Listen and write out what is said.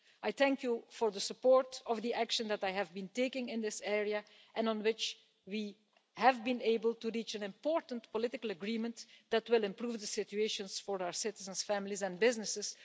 I thank you for the support of the action that I have been taking in this area and on which we have been able to reach an important political agreement that will improve the situation for our citizens' families and businesses.